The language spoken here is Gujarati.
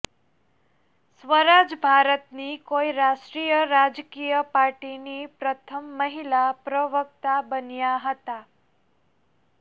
સ્વરાજ ભારતની કોઇ રાષ્ટ્રીય રાજકીય પાર્ટીની પ્રથમ મહિલા પ્રવક્તા બન્યા હતા